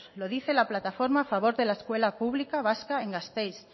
lo dice la plataforma a favor de la escuela pública vasca en gasteiz